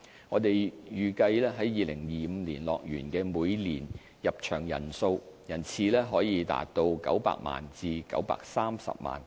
我們預計在2025年，樂園的每年入場人次可達900萬至930萬。